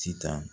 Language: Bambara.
Sitan